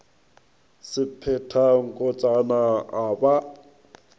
se phetha nkotsana a ba